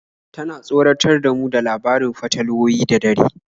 Tana tsoratar da mu da labarin fatalwoyi da dare.